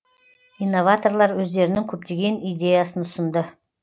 инноваторлар өздерінің көптеген идеясын ұсынды